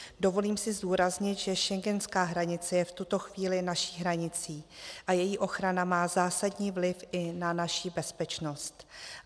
Dovolím si zdůraznit, že schengenská hranice je v tuto chvíli naší hranicí a její ochrana má zásadní vliv i na naši bezpečnost.